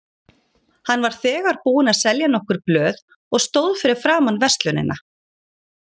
Hann var þegar búinn að selja nokkur blöð og stóð fyrir framan verslunina.